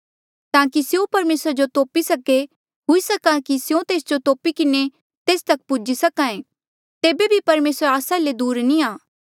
ताकि स्यों परमेसरा जो तोपी सके हुई सक्हा कि स्यों तेस जो तोपी किन्हें तेस तक पुज्ही सक्हा ऐें तेबे बी परमेसर आस्सा ले दूर नी आ